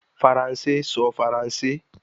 Faranse sọ Faranse